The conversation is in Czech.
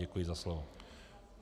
Děkuji za slovo.